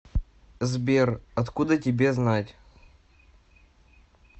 сбер откуда тебе знать